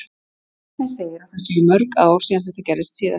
Árni segir að það séu mörg ár síðan þetta gerðist síðast.